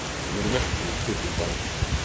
Við erum ekki úr titilbaráttunni